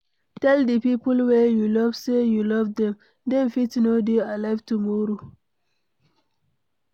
Tell di people wey you love sey you love dem, dem fit no dey alive tomorrow